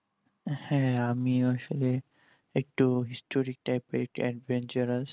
হ্যাঁ আমি আসলে একটু historic type এর adventurous